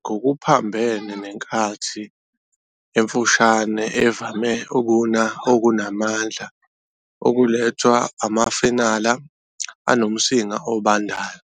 ngokuphambene nenkathi emfushane evame ukuna okunamandla okulethwa amafenala anomsinga obandayo.